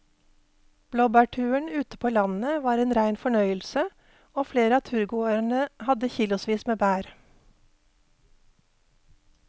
Blåbærturen ute på landet var en rein fornøyelse og flere av turgåerene hadde kilosvis med bær.